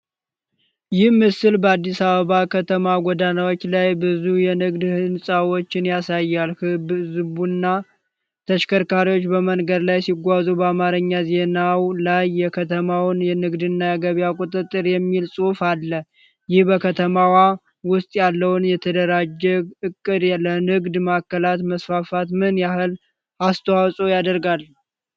ይህ ምስል በአዲስ አበባ ከተማ ጎዳናዎች ላይ ብዙ የንግድ ሕንጻዎችን ያሳያል። ሕዝብና ተሽከርካሪዎች በመንገድ ላይ ሲጓዙ፣ በአማርኛ ዜናው ላይ"የከተማው ንግድና ገበያ ቁጥጥር" የሚል ጽሑፍ አለ። ይህ በከተማዋ ውስጥ ያለው የተደራጀ ዕቅድ ለንግድ ማዕከላት መስፋፋት ምን ያህል አስተዋጽኦ ያደርጋል?